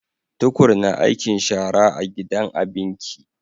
Tukur na aikin shara a gidan abinki